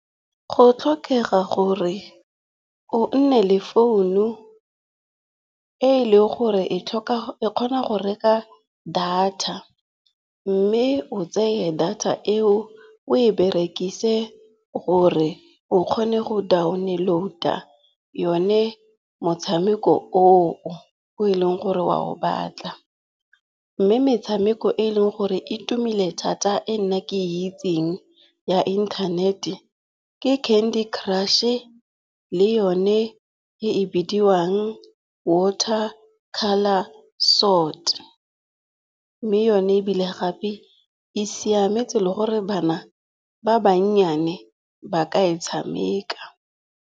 Go tlhokega gore o nne le founu e leng gore e kgona go reka data. Mme o tseye data eo o e berekise gore o kgone go download-a yone motshameko oo o e leng gore wa o batla. Mme metshameko e e leng gore e tumile thata e nna ke e itseng ya internet-e ke Candy Crush-e le yone e bidiwang Water Colour Sword. Mme yone ebile gape e siametse le gore bana ba bannyane ba ka e tshameka.